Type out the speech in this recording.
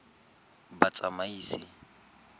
batsamaisi